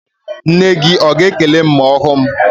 Nne gị a ga-ekele m ma ọ hụ m?